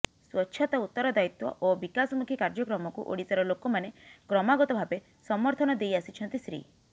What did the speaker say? ସ୍ୱଚ୍ଛତା ଉତ୍ତରଦାୟିତ୍ୱ ଓ ବିକାଶମୁଖୀ କାର୍ଯ୍ୟକ୍ରମକୁ ଓଡ଼ିଶାର ଲୋକମାନେ କ୍ରମାଗତ ଭାବେ ସମର୍ଥନ ଦେଇ ଆସିଛନ୍ତି ଶ୍ରୀ